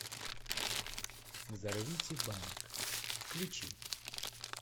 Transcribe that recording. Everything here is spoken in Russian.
взорвите банк включи